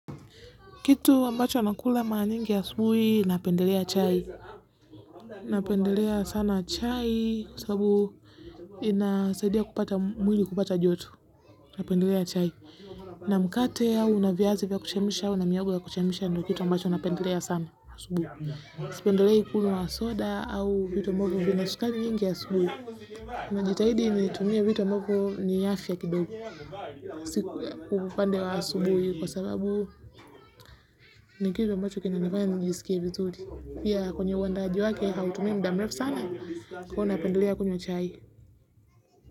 Kitu ambacho na kula mara nyingi asubuhi napendelea chai, napendelea sana chai kwa sababu inasaidia kupata mwili kupata joto, napendelea chai. Na mkate au na viazi vya kuchemsha, au na mihogo ya kuchemisha ndio kitu ambacho napendelea sana asubuhi. Sipendelei kunywa soda au vitu ambvyo vina sukari nyingi asubuhi. Na jitahidi ni tumie vitu ambavyoo ni afya kidogo. Siku kwa upande wa asubuhi kwa sababu ni kitu ambacho kinanofanya nijiskie vizuri pia kwenye uandaji wake hautumii muda mrefu sana kwa napendelea kunywa chai.